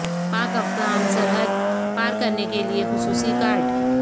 پاک افغان سرحد پار کرنے کے لیے خصوصی کارڈ